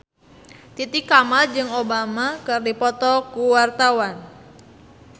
Titi Kamal jeung Obama keur dipoto ku wartawan